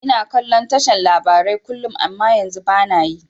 Ina kallon tashar labarai kullum amma yanzu bana yi